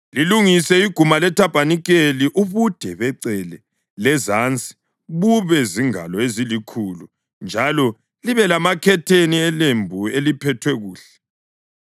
“Lilungise iguma lethabanikeli. Ubude becele lezansi bube zingalo ezilikhulu njalo libe lamakhetheni elembu eliphethwe kuhle,